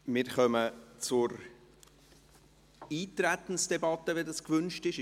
Wir kommen zur Eintretensdebatte, wenn dies gewünscht ist.